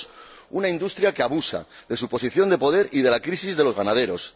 El segundo, una industria que abusa de su posición de poder y de la crisis de los ganaderos.